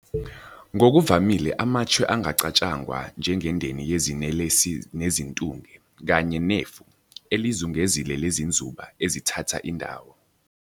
Ngokuvamile amachwe angacatshangwa njengendeni yezinelesi nezintunge, kanye "nefu" elizungezile lezinzuba 'ezithatha indawo'.